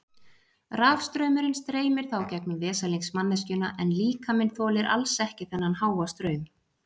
Rafstraumurinn streymir þá gegnum veslings manneskjuna en líkaminn þolir alls ekki þennan háa straum.